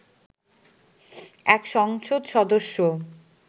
এক সংসদ সদস্য